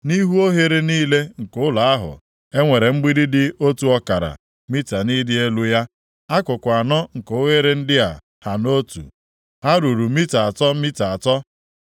Nʼihu oghere niile nke ụlọ ahụ e nwere mgbidi dị otu ọkara mita nʼịdị elu ya. Akụkụ anọ nke oghere ndị a ha otu. Ha ruru mita atọ mita atọ.